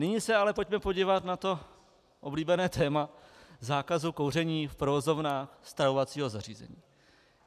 Nyní se ale pojďme podívat na to oblíbené téma zákazu kouření v provozovnách stravovacího zařízení.